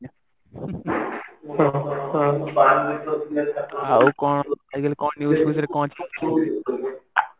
ଆଉ କଣ news Fues ରେ କଣ ଅଛି